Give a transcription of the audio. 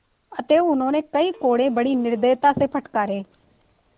अतएव उन्होंने कई कोडे़ बड़ी निर्दयता से फटकारे